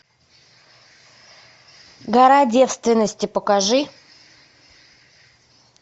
гора девственности покажи